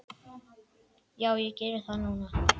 Já, ég geri það núna.